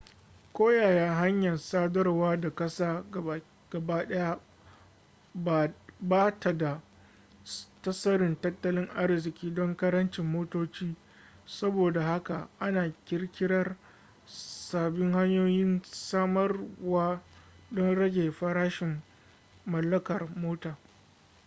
koyaya hanyar sadarwa ta ƙasa gabaɗaya ba ta da tasirin tattalin arziƙi don ƙarancin motoci saboda haka ana ƙirƙirar sabbin hanyoyin samarwa don rage farashin mallakar mota